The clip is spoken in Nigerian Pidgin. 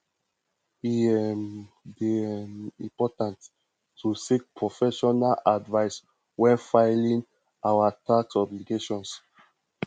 e um dey um important to seek professional advice when filing our tax obligations